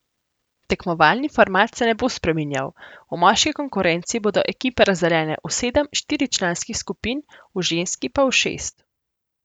Tekmovalni format se ne bo spreminjal, v moški konkurenci bodo ekipe razdeljene v sedem štiričlanskih skupin, v ženski pa v šest.